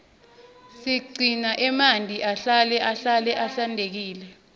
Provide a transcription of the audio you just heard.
siqune emanti ahlale ahlale ahlantekile